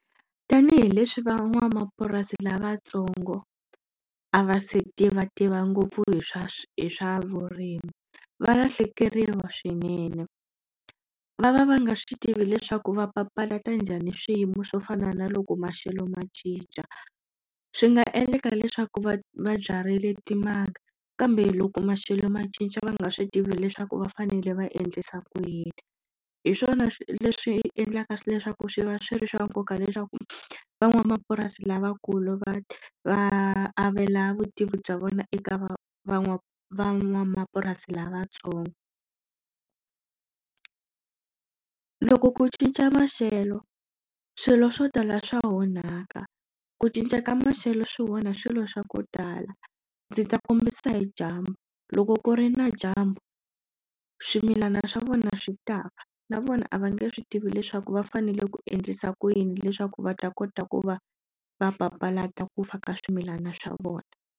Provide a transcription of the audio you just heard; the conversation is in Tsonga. Tanihi leswi van'wamapurasi lavatsongo a va se tivativa ngopfu hi swa hi swa vurimi valahlekeriwa swinene va va va nga swi tivi leswaku va papalata njhani swiyimo swo fana na loko maxelo ma cinca swi nga endleka leswaku va va byarile timanga kambe loko maxelo ma cinca va nga swi tivi leswaku va fanele va endlisa ku yini hi swona leswi endlaka leswaku swi va swi ri swa nkoka leswaku van'wamapurasi lavakulu va va avela vutivi bya vona eka van va van'wamapurasi lavatsongo loko ku cinca maxelo swilo swo tala swa onhaka ku cinca ka maxelo swi wona swilo swa ku tala ndzi ta kombisa hi dyambu loko ku ri na dyambu swimilana swa vona swi tafa na vona a va nge swi tivi leswaku va fanele ku endlisa ku yini leswaku va ta kota ku va va papalata ku fa ka swimilana swa vona.